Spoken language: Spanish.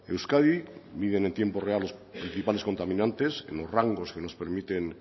euskadi miden en tiempo real los principales contaminantes los rangos que nos permiten